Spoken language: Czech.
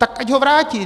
Tak ať ho vrátí!